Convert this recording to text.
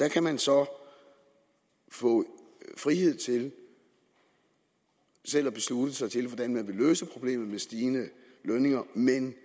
kan man så få frihed til selv at beslutte sig til hvordan man vil løse problemet med stigende lønninger men